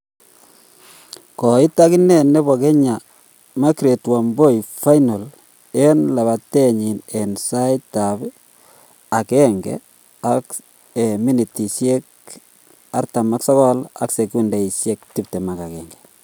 Koit agine nepo kenya margaret wambui finals en lapatenyin en sait ap 1:59.21